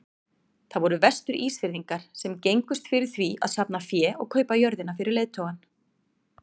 Það voru Vestur-Ísfirðingar sem gengust fyrir því að safna fé og kaupa jörðina fyrir leiðtogann.